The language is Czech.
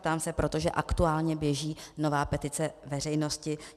Ptám se, protože aktuálně běží nová petice veřejnosti.